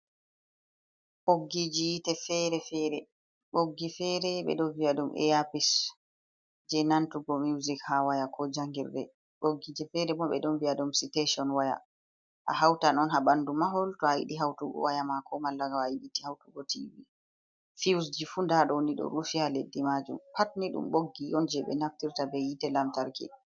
Ɓoggiji yiite fere-fere boggi fere be don viya dum eyapish je nantugo music ha waya ko jangirde boggije fere mo be don vi’a dum citation waya a hauta non ha bandu mahol to a hidi hautugo waya mako mallaga a yibiti hautugo t filsji funda doni do rufi ha leddi majum pat ni dum boggi yon je be naftirta be yite lamtarki.